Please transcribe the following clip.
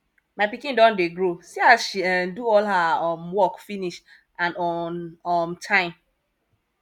my pikin don dey grow see as she um do all her um work finish and on um time